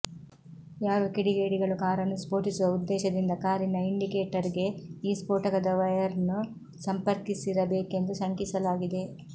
ಯಾರೋ ಕಿಡಿಡಿಗೇಡಿಗಳು ಕಾರನ್ನು ಸ್ಫೋಟಿಸುವ ಉದ್ದೇಶದಿಂದ ಕಾರಿನ ಇಂಡಿಕೇಟರ್ಗೆ ಈ ಸ್ಫೋಟಕದ ವೈಯರ್ನ್ನು ಸಂಪರ್ಕಿಸಿರಬೇಕೆಂದು ಶಂಕಿಸಲಾಗಿದೆ